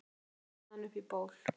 ég ætla með hann upp í ból